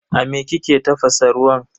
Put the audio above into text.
A me kike tafasa ruwan?